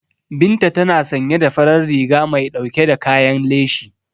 Binta tana sanye da farar riga mai dauke da kayan leshi.